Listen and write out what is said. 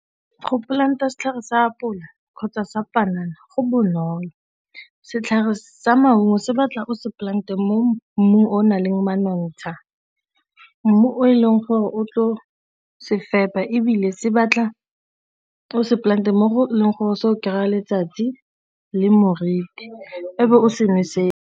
Go plant-a setlhare se apola kgotsa sa panana go bonolo, setlhare sa maungo se batla o se polante mo mmung o naleng manontsha, mmu o e leng gore o tlo se fepa ebile se batla o se plant-e mo go leng gore se o kry-a letsatsi le moriti e be o se nosetsa.